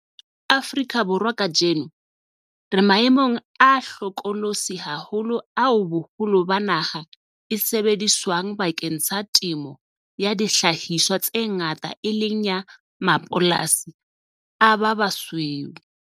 Afrika Borwa kajeno, re maemong a hlokolosi haholo ao boholo ba naha e sebediswang bakeng sa temo ya dihlahiswa tse ngata e leng ya mapolasi a ba basweu.